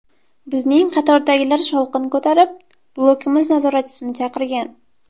Bizning qatordagilar shovqin ko‘tarib, blokimiz nazoratchisini chaqirgan.